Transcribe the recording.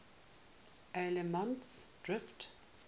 allemansdrift